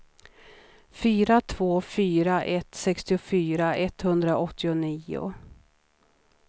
fyra två fyra ett sextiofyra etthundraåttionio